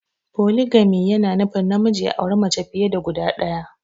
poligami yana nufin namiji ya auri mace fiye da guda ɗaya.